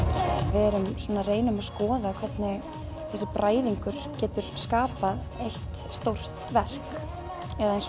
við reynum að skoða hvernig þessi bræðingur getur skapað eitt stórt verk eins